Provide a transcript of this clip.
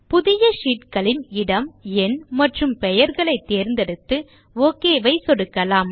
புதிய ஷீட்களின் இடம் எண் மற்றும் பெயர்களை தேர்ந்தெடுத்து ஒக் ஐ சொடுக்கலாம்